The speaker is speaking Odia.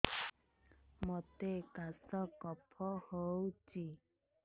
ମୋତେ କାଶ କଫ ହଉଚି